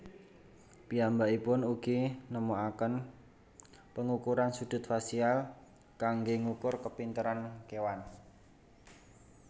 Piyambakipun ugi nemokaken pangukuran sudut fasial kanggé ngukur kapinteran kéwan